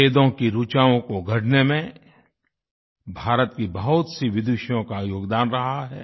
वेदों की ऋचाओं को गढ़ने में भारत की बहुतसी विदुषियों का योगदान रहा है